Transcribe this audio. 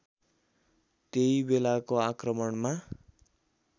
त्यही बेलाको आक्रमणमा